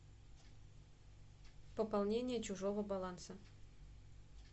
пополнение чужого баланса